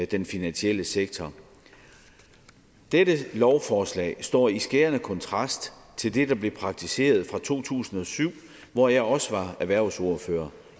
den finansielle sektor dette lovforslag står i skærende kontrast til det der blev praktiseret fra to tusind og syv hvor jeg også var erhvervsordfører